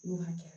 N'o hakɛya